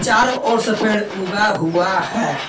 चारों ओर से पेड़ उगा हुआ है।